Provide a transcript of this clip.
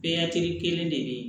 Bɛɛ ya kelen de bɛ yen